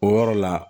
O yɔrɔ la